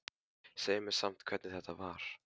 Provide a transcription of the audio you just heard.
Segðu mér samt hvernig þetta var.